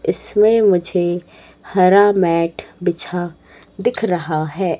इसमें मुझे हरा मैट बिछा दिख रहा है।